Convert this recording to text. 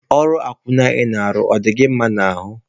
Ọrụ akwụna ị na-arụ, ọ dị gị mma n'ahụ?